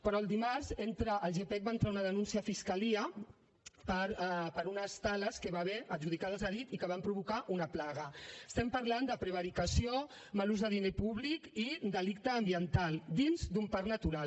però el dimarts el gepec va entrar una denúncia a fiscalia per unes tales que hi va haver adjudicades a dit i que van provocar una plaga estem parlant de prevaricació mal ús de diner públic i delicte ambiental dins d’un parc natural